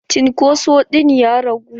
Cunkoso ɗin ya ragu?